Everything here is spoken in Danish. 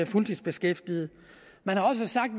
fuldtidsbeskæftigede man har også sagt